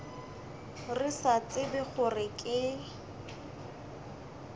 re sa tsebe gore ke